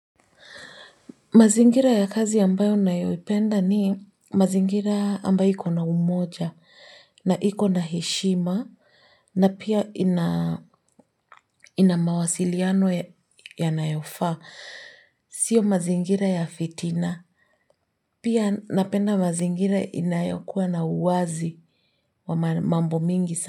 Mazingira ya kazi ambayo ninayoipenda ni, mazingira ambayo ikona umoja, na ikona heshima, na pia ina mawasiliano yanayofaa. Sio mazingira ya fitina. Pia napenda mazingira inayokua na uwazi wa mambo mingi sa.